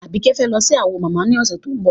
Àbíkẹ́ fẹ́ lọ sí Awo mama ní ọ̀sẹ̀ tó ń bọ̀.